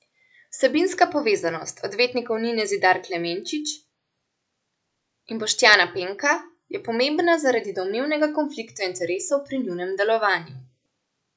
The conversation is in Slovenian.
Vsebinska povezanost odvetnikov Nine Zidar Klemenčič in Boštjana Penka je pomembna zaradi domnevnega konflikta interesov pri njunem delovanju.